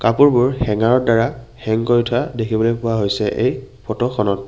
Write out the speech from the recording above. কাপোৰবোৰ হেংগাৰৰ দ্বাৰা হেঙ কৰি থোৱা দেখিবলৈ পোৱা হৈছে এই ফটোখনত।